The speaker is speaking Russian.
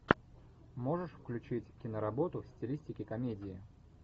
можешь включить киноработу в стилистике комедии